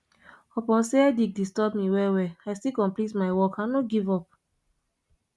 upon sey headache disturb me wellwell i still complete my work i no give up